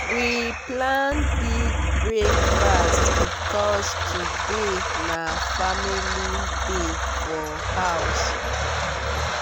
we plan big breakfast because today na family day for house.